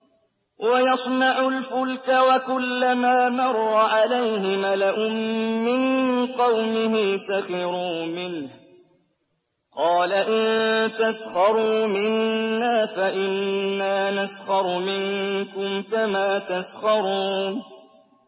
وَيَصْنَعُ الْفُلْكَ وَكُلَّمَا مَرَّ عَلَيْهِ مَلَأٌ مِّن قَوْمِهِ سَخِرُوا مِنْهُ ۚ قَالَ إِن تَسْخَرُوا مِنَّا فَإِنَّا نَسْخَرُ مِنكُمْ كَمَا تَسْخَرُونَ